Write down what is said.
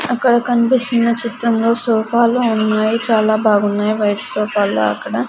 అక్కడ కనిపిస్తున్న చిత్రంలో సోఫాలు ఉన్నాయి చాలా బాగున్నాయి వైట్ సోఫాల్లా అక్కడ.